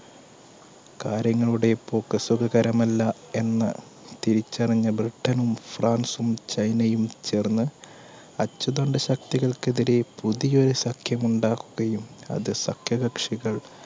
കാര്യങ്ങളുടെ പോക്ക് സുഖകരം അല്ല എന്ന് തിരിച്ചറിഞ്ഞ ബ്രിട്ടനും, ഫ്രാൻസും, ചൈനയും ചേർന്ന് അച്ചുതണ്ട് ശക്തികൾക്കെതിരെ പുതിയൊരു സഖ്യമുണ്ടാക്കുകയും അത് സഖ്യകക്ഷികൾ